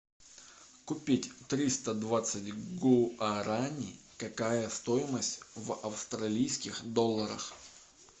купить триста двадцать гуарани какая стоимость в австралийских долларах